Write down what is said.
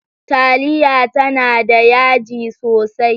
Taliya tana da yaji sosai.